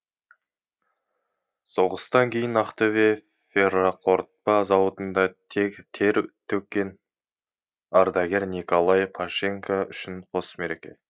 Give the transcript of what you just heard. соғыстан кейін ақтөбе ферроқорытпа зауытында тер төккен ардагер николай пащенко үшін қос мереке